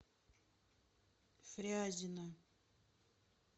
фрязино